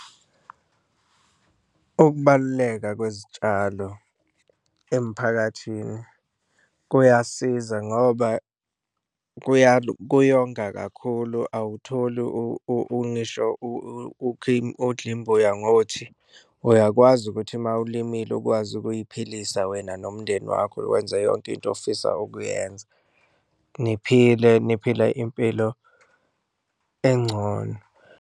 Ukubaluleka kwezitshalo emphakathini kuyasiza ngoba kuyonga kakhulu, awutholi ngisho odla imbuyangothi, uyakwazi ukuthi uma ulimile ukwazi ukuyiphilisa wena nomndeni wakho. Wenze yonke into ofisa ukuyenza, niphile niphila impilo encono.